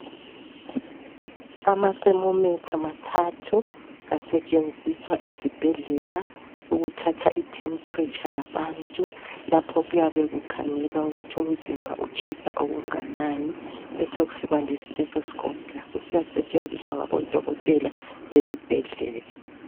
Ama thermometer mathathu asetshenziswa esibhedlela ukuthatha I tempreature yabantu lapha kuyabe kukhangelwa ukuthi umzimba utshisa okunganani, besekusiba le stethoscope layo iyasetshenziswa esibhedlela